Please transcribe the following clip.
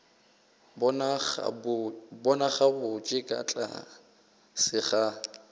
bona gabotse ka tlase ga